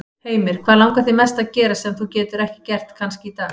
Heimir: Hvað langar þig mest að gera, sem þú getur ekki gert kannski í dag?